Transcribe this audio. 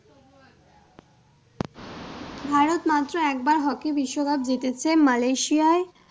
ভারত মাত্র একবার hockey বিশ্বকাপ জিতেছে Malaysia য়ায়,